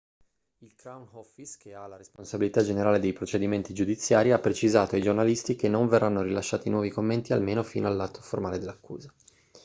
il crown office che ha la responsabilità generale dei procedimenti giudiziari ha precisato ai giornalisti che non verranno rilasciati nuovi commenti almeno fino all'atto formale di accusa